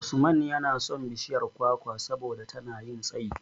Usman yana son bishiyar kwakwa saboda tana yin tsayi.